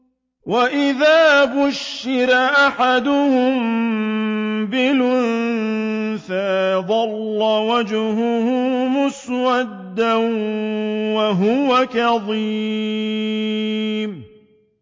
وَإِذَا بُشِّرَ أَحَدُهُم بِالْأُنثَىٰ ظَلَّ وَجْهُهُ مُسْوَدًّا وَهُوَ كَظِيمٌ